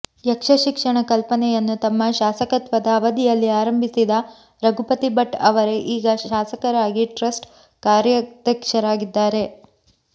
ಯಕ್ಷ ಶಿಕ್ಷಣ ಕಲ್ಪನೆಯನ್ನು ತಮ್ಮ ಶಾಸಕತ್ವದ ಅವಧಿಯಲ್ಲಿ ಆರಂಭಿಸಿದ ರಘುಪತಿ ಭಟ್ ಅವರೇ ಈಗ ಶಾಸಕರಾಗಿ ಟ್ರಸ್ಟ್ ಕಾರ್ಯಾಧ್ಯಕ್ಷರಾಗಿದ್ದಾರೆ